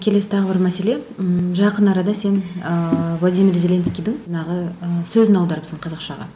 келесі тағы бір мәселе ммм жақын арада сен ыыы владимир зеленскийдің жаңағы ы сөзін аударыпсың қазақшаға